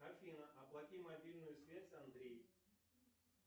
афина оплати мобильную связь андрей